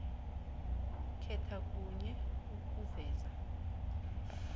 khetha kunye ukuveza